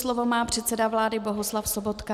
Slovo má předseda vlády Bohuslav Sobotka.